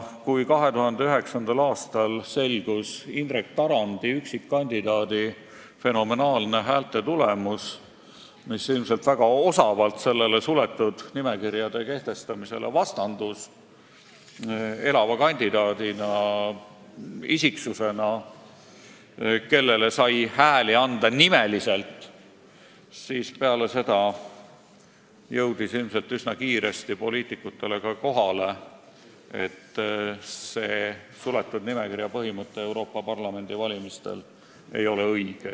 Kui 2009. aastal selgus üksikkandidaat Indrek Tarandi fenomenaalne häältetulemus – ilmselt vastandus see väga osavalt suletud nimekirjade kehtestamisele, sest elavale kandidaadile kui isiksusele sai häält anda nimeliselt –, siis jõudis poliitikutele üsna kiiresti kohale, et suletud nimekirja põhimõte Euroopa Parlamendi valimisel ei ole õige.